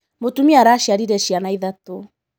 Mũtumia araciarire ciana ithatũ.